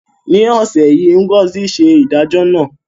Ní ọ̀sẹ̀ yìí, Ngozi ṣe ìdájọ́ náà.